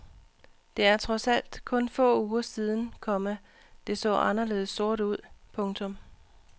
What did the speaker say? Det er trods alt kun få uger siden, komma det så anderledes sort ud. punktum